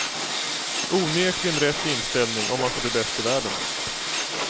Onekligen rätt inställning om man ska bli bäst i världen.